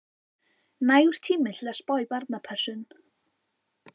Nægur tími til að spá í barnapössun.